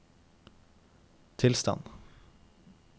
tilstand